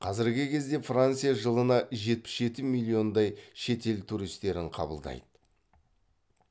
қазіргі кезде франция жылына жетпіс жеті миллиондай шетел туристерін қабылдайды